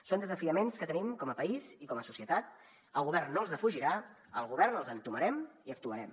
són desafiaments que tenim com a país i com a societat el govern no els defugirà al govern els entomarem i actuarem